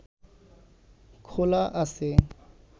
খোলা আছে